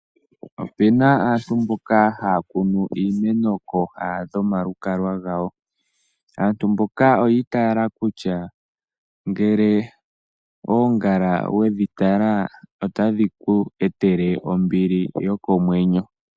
Opena aantu mboka haya kunu iimeno kooha dho malukalwa gawo, aantu mboka oyi taala kutya ngele oongala wedhi tala otadhi ku etele ombili yokomwenyo.